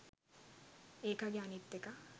ඒකගේ අනිත් එකා